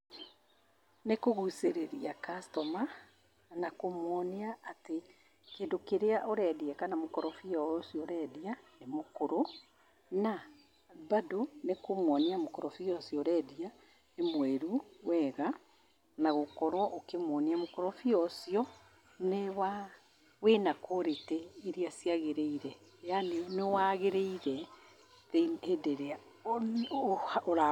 Nĩ kũgucĩrĩria customer na kũmwonia atĩ kĩndũ kĩrĩa ũrendĩa, kana mũkorobia o ũcio ũrendia nĩ mũkũrũ. Na bado nĩ kũmwonia mũkorobia ũcio ũrendia nĩ mwĩru wega, na gũkorwo ũkĩmwonia mũkorobia ũcio nĩ wa, wĩna quality iria ciagĩrĩire yani, nĩ waagĩrĩire hĩndĩ ĩrĩa ũra-